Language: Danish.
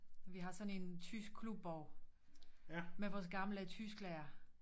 Vi har sådan en tysk klubbog med vores gamle tysklærer